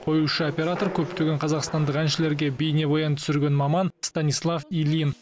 қоюшы оператор көптеген қазақстандық әншіге бейнебаян түсірген маман станислав ильин